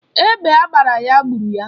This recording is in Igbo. Egbe agbara ya gburu ya.